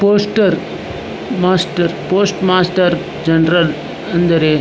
poster master post master general ಅಂದರೆ --